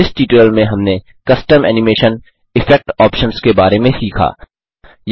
इस ट्यूटोरियल में हमने कस्टम एनिमेशन इफेक्ट ऑप्शन्स के बारे में सीखा